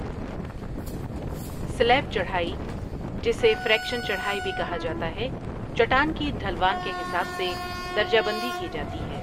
سلیب چڑھائی، جسے فریکشن چڑھائی بھی کہا جاتا ہے، چٹان کی ڈھلوان کے حساب سے درجہ بندی کی جاتی ہے۔